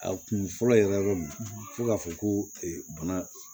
A kun fɔlɔ yɛrɛ min fo k'a fɔ ko bana